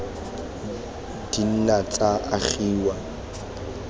di ka nna tsa agelwa